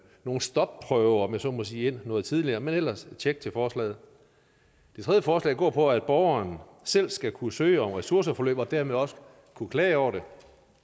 nogle stopprøver om jeg så må sige ind noget tidligere men ellers tjek til forslaget det tredje forslag går på at borgeren selv skal kunne søge om ressourceforløb og dermed også kunne klage over det